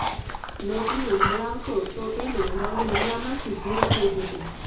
નોટને હલાવશો તો તેનો રંગ લીલામાંથી ભૂરો થઈ જશે